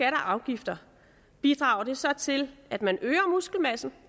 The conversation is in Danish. og afgifter bidrager det så til at man øger muskelmassen